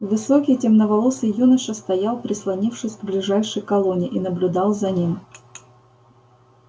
высокий темноволосый юноша стоял прислонившись к ближайшей колонне и наблюдал за ним